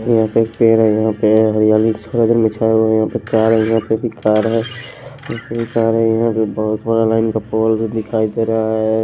यहां पे पेड़ है यहां पे हरियाली थोड़ा देर मिछाया हुआ है यहां पे कार है यहां पे भी कार है यहां भी कार है यहां पे बहुत बड़ा लाइन का पोल दिखाई दे रहा है।